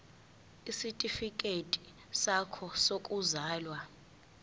isitifikedi sakho sokuzalwa